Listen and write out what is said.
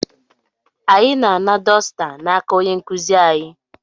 Anyị na-ana dosita n'aka onye nkuzi anyị.